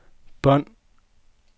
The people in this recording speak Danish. bånd